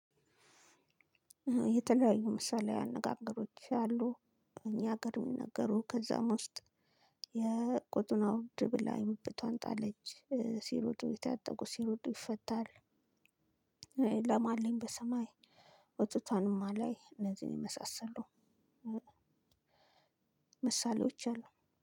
የተለያዩ ምሳሌያዊ አነጋገሮች አሉ። እኛ ሀገር የሚነገሩ ከዛም ውስጥ የቆጡን አወርድ ብላ የብብቷን ጣለች ሲሮጡ የታጠቁት ሲሮጡ ይፈታል። ላም አለኝ በሰማይ። ወተቷንም አላይ እነዚህን የመሳሰሉ ምሳሌዎች አሉ።